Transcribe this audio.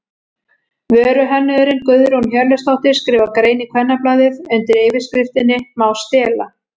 Vöruhönnuðurinn Guðrún Hjörleifsdóttir skrifar grein í Kvennablaðið undir yfirskriftinni Má stela?